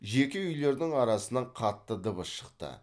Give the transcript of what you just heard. жеке үйлердің арасынан қатты дыбыс шықты